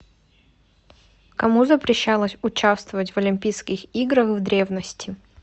кому запрещалось участвовать в олимпийских играх в древности